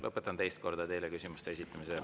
Lõpetan teist korda teile küsimuste esitamise.